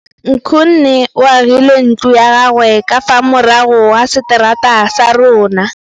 Nkgonne o agile ntlo ya gagwe ka fa morago ga seterata sa rona.